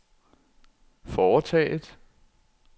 foretaget